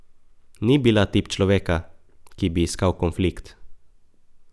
Ni bila tip človeka, ki bi iskal konflikt.